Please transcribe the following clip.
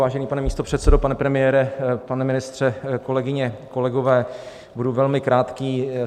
Vážený pane místopředsedo, pane premiére, pane ministře, kolegyně, kolegové, budu velmi krátký.